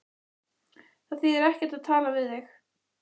Það þýðir ekkert að tala við þig.